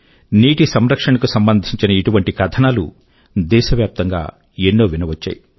నీటి సంరక్షణ కు సంబంధించిన ఇటువంటి కథనాలు దేశవ్యాప్తం గా ఎన్నో వినవచ్చాయి